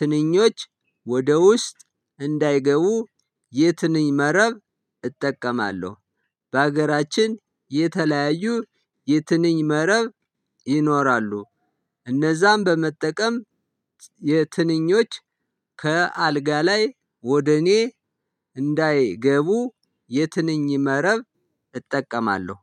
ትንኞች ወደ ውስጥ እንዳይገቡ የትንኝ መረብ እጠቀማለሁ። በሀገራችን የተለያዩ የትንኝ መረብ ይኖራሉ። እነዛን በመጠቀም የትንኞች ከአልጋ ላይ ወደ እኔ እንዳይገቡ የትንኝ መረብ እጠቀማለሁ።